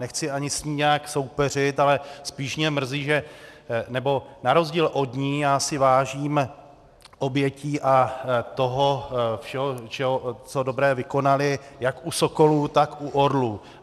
Nechci ani s ní nijak soupeřit, ale spíš mě mrzí, že - nebo na rozdíl od ní já si vážím obětí a toho všeho, co dobré vykonali, jak u sokolů, tak u orlů.